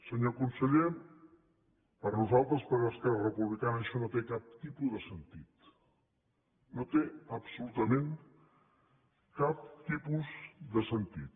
senyor conseller per nosaltres per esquerra republicana això no té cap tipus de sentit no té absolutament cap tipus de sentit